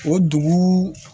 O dugu